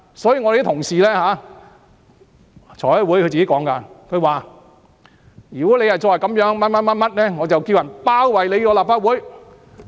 所以，有同事在財務委員會說，"如果你再這樣，我便叫人包圍立法會"。